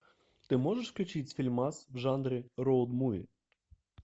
ты можешь включить фильмас в жанре роуд муви